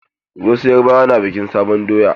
Wasu yarubawa na bikin sabuwar doya.